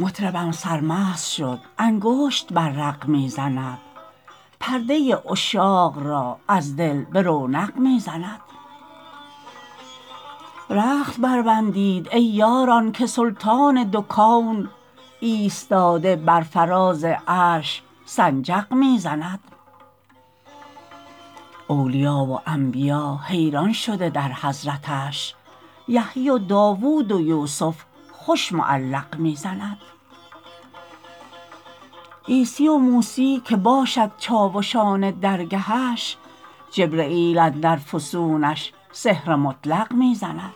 مطربم سرمست شد انگشت بر رق می زند پرده عشاق را از دل به رونق می زند رخت بربندید ای یاران که سلطان دو کون ایستاده بر فراز عرش سنجق می زند اولیا و انبیا حیران شده در حضرتش یحیی و داوود و یوسف خوش معلق می زند عیسی و موسی که باشد چاوشان درگهش جبرییل اندر فسونش سحر مطلق می زند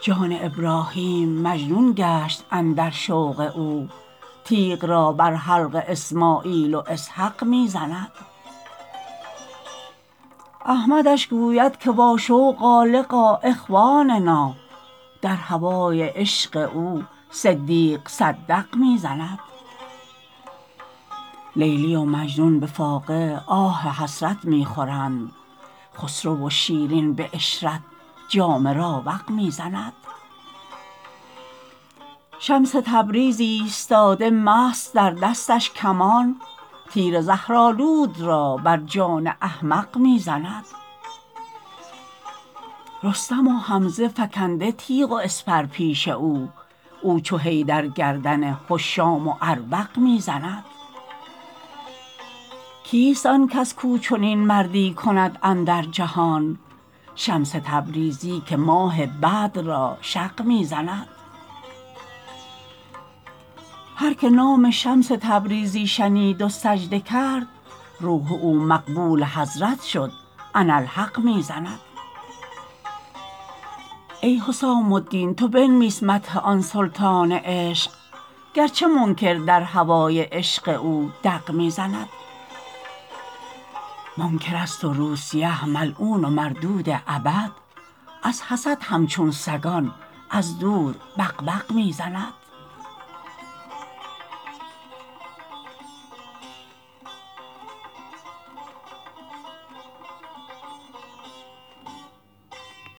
جان ابراهیم مجنون گشت اندر شوق او تیغ را بر حلق اسماعیل و اسحق می زند احمدش گوید که واشوقا لقا اخواننا در هوای عشق او صدیق صدق می زند لیلی و مجنون به فاقه آه حسرت می خورند خسرو و شیرین به عشرت جام راوق می زند شمس تبریز ایستاده مست در دستش کمان تیر زهرآلود را بر جان احمق می زند رستم و حمزه فکنده تیغ و اسپر پیش او او چو حیدر گردن هشام و اربق می زند کیست آن کس کو چنین مردی کند اندر جهان شمس تبریزی که ماه بدر را شق می زند هر که نام شمس تبریزی شنید و سجده کرد روح او مقبول حضرت شد اناالحق می زند ای حسام الدین تو بنویس مدح آن سلطان عشق گرچه منکر در هوای عشق او دق می زند منکرست و روسیه ملعون و مردود ابد از حسد همچون سگان از دور بق بق می زند